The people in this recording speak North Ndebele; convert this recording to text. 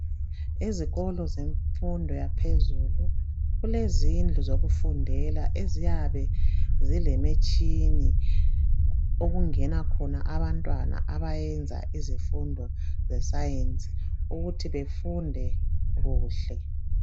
Izikolo zemfundo yaphezulu zilezindlu zokufundela eziyabe zilemitshini okungena khona abantwana abayenza izifundo zesayensi ukuthi befunde kuhle.